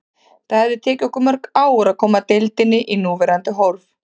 Það hefði tekið okkur mörg ár að koma deildinni í núverandi horf.